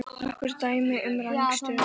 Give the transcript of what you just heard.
Nokkur dæmi um rangstöðu?